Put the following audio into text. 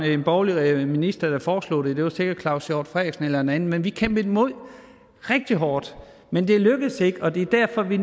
en borgerlig minister der foreslog det det var sikkert claus hjort frederiksen eller en anden men vi kæmpede imod rigtig hårdt men det lykkedes ikke og det er derfor vi